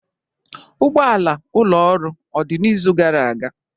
Ụgbọala ụlọ ọrụ odị n'izu gara aga?